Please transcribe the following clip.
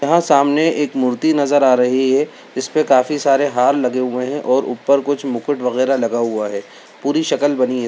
यँहा सामने एक मूर्ति नजर आ रही है इसपे काफी सारे हार लगे हुए है और ऊपर कुछ मुकुट वगेरा लगा हुआ है पूरी शकल बनी है।